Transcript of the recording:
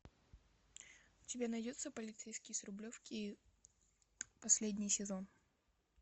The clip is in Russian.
у тебя найдется полицейский с рублевки последний сезон